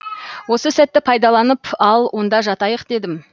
осы сәтті пайдаланып ал онда жатайық дедім